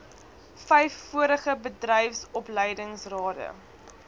vyf vorige bedryfsopleidingsrade